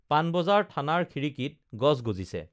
পানবজাৰ থানাৰ খিড়িকীত গছ গজিছে